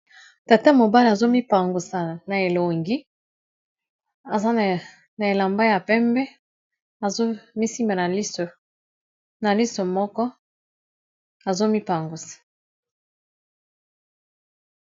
Tata mobale azomipangwisa na elongi aza na elamba ya pembe azomisime na liso moko azomipangwisa